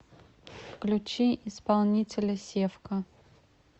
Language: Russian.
включи исполнителя севка